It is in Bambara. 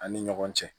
An ni ɲɔgɔn cɛ